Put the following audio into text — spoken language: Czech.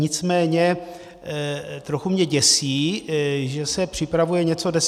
Nicméně trochu mě děsí, že se připravuje něco deset let.